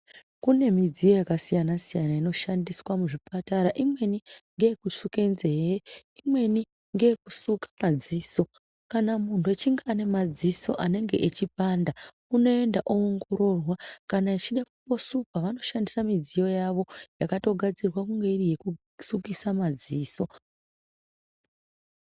Kune midziyo yakasiyana siyana inoshandiswa muzvipatara. Imweni ngeekusuke nzee, imweni ngeekusuka madziso. Kana muntu achinge ane madziso anenge echipanda, unoenda oongororwa kana echida kusukwa vanoshandisa midziyo yawo yakatogadzirwa kunge iri yekusukisa madziso.